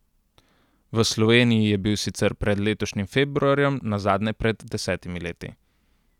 V Sloveniji je bil sicer pred letošnjim februarjem nazadnje pred desetimi leti.